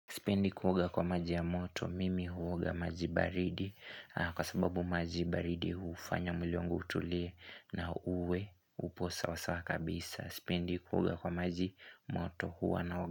Sipendi kuoga kwa maji ya moto mimi huoga maji baridi kwa sababu maji baridi hufanya mwili wangu utulie na uwe upo sawa sawa kabisa. Sipendi kuoga kwa maji moto huwa naoga.